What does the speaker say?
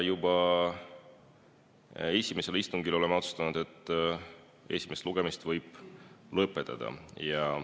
Juba esimesel istungil olime otsustanud, et esimese lugemise võib lõpetada.